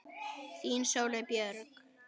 Þín Sóley Björk